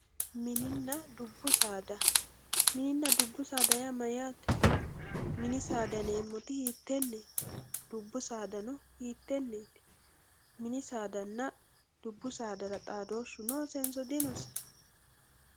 Minina dubbu saada minina dubbu saada yaa mayate mini saada yinemoti hitenet dubbu sadano hiteneti minisadana dubbu saada xadooshu nosenso dinose.